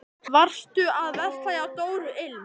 Varstu að versla hjá Dóru ilm?